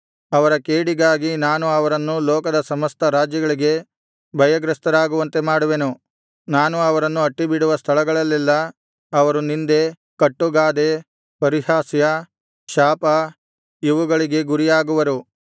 ಅವರ ಕೇಡಿಗಾಗಿ ನಾನು ಅವರನ್ನು ಲೋಕದ ಸಮಸ್ತ ರಾಜ್ಯಗಳಿಗೆ ಭಯಗ್ರಸ್ತರಾಗುವಂತೆ ಮಾಡುವೆನು ನಾನು ಅವರನ್ನು ಅಟ್ಟಿಬಿಡುವ ಸ್ಥಳಗಳಲ್ಲೆಲ್ಲಾ ಅವರು ನಿಂದೆ ಕಟ್ಟುಗಾದೆ ಪರಿಹಾಸ್ಯ ಶಾಪ ಇವುಗಳಿಗೆ ಗುರಿಯಾಗುವರು